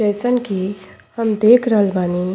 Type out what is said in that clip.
जइसन की हम देख रहल बानी।